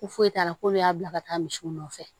Ko foyi t'a la k'olu y'a bila ka taa misiw nɔfɛ